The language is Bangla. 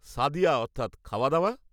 সাদিয়া অর্থাৎ, খাওয়াদাওয়া?